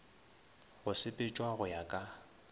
go sepetšwa go ya ka